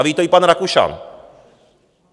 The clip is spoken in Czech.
A ví to i pan Rakušan.